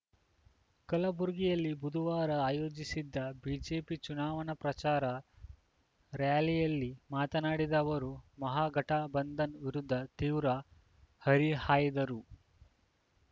ಕಲಬುರಗಿಯಲ್ಲಿ ಬುಧವಾರ ಆಯೋಜಿಸಿದ್ದ ಬಿಜೆಪಿ ಚುನಾವಣಾ ಪ್ರಚಾರ ರಾರ‍ಯಲಿಯಲ್ಲಿ ಮಾತನಾಡಿದ ಅವರು ಮಹಾಗಠಬಂಧನ್‌ ವಿರುದ್ಧ ತೀವ್ರ ಹರಿಹಾಯ್ದರು